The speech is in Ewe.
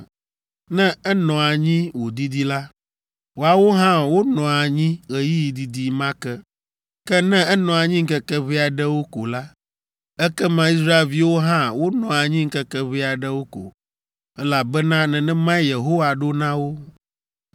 Ne enɔ anyi wòdidi la, woawo hã wonɔa anyi ɣeyiɣi didi ma ke. Ke ne enɔ anyi ŋkeke ʋɛ aɖewo ko la, ekema Israelviwo hã wonɔa anyi ŋkeke ʋɛ aɖewo ko, elabena nenemae Yehowa ɖo na wo.